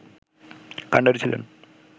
কান্ডারি ছিলেন